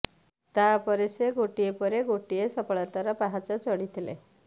ତାପରେ ସେ ଗୋଟିଏ ପରେ ଗୋଟିଏ ସଫଳତାର ପାହାଚ ଚଢ଼ିଥିଲେ